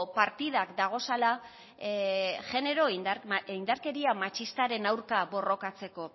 partidak dagozala indarkeria matxistaren aurka borrokatzeko